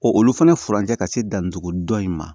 Ko olu fana furancɛ ka se dantugu dɔ in ma